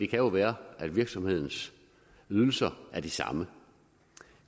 kan jo være at virksomhedens ydelser er de samme